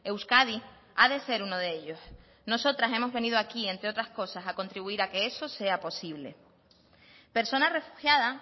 euskadi ha de ser uno de ellos nosotras hemos venido aquí entre otras cosas a contribuir a que eso sea posible persona refugiada